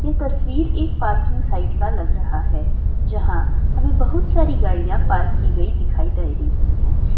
ये तस्वीर एक पार्किंग साइड का लग रहा है जहा हमे बहुत सारी गड़िया पार्क की गई दिखाई दे रही है ।